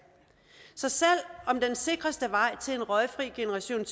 så selv om den sikreste vej til en røgfri generation i